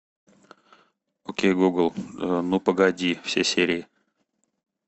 окей гугл ну погоди все серии